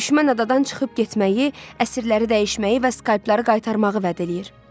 Düşmən adadan çıxıb getməyi, əsirləri dəyişməyi və skalpları qaytarmağı vəd eləyir.